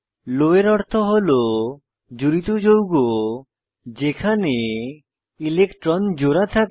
লো এর অর্থ হল জুড়িত যৌগ যেখানে ইলেকট্রন জোড়া থাকে